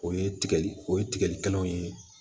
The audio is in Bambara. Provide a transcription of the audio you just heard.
O ye tigɛli o ye tigɛli kɛnɛw ye